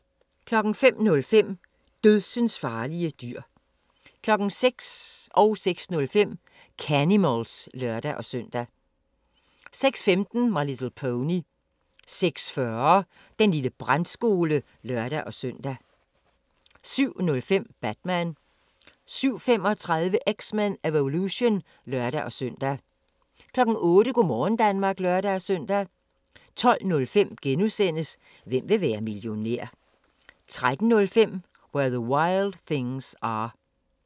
05:05: Dødsensfarlige dyr 06:00: Canimals (lør-søn) 06:05: Canimals (lør-søn) 06:15: My Little Pony 06:40: Den lille brandskole (lør-søn) 07:05: Batman 07:35: X-Men: Evolution (lør-søn) 08:00: Go' morgen Danmark (lør-søn) 12:05: Hvem vil være millionær? * 13:05: Where the Wild Things Are